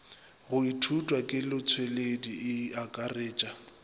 go ithutwa kelotpweledi e akaretpa